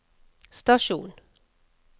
stasjon